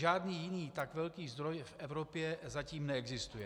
Žádný jiný tak velký zdroj v Evropě zatím neexistuje.